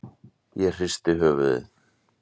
Ég hristi höfuðið.